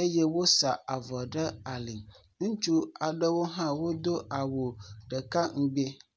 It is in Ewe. eye wosa avɔ ɖe ali. Ŋutsu aɖewo hã wodo awu ɖekaŋgbi.